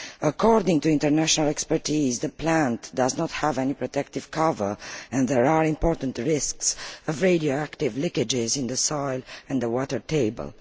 According to international experts, the plant does not have any protective cover and there are major risks of radioactive leakages into the soil and the water table.